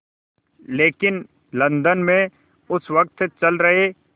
लेकिन लंदन में उस वक़्त चल रहे